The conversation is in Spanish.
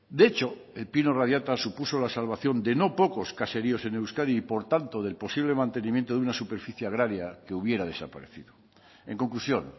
de hecho el pino radiata supuso la salvación de no pocos caseríos en euskadi y por tanto del posible mantenimiento de una superficie agraria que hubiera desaparecido en conclusión